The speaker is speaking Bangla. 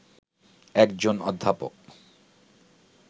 একজন অধ্যাপক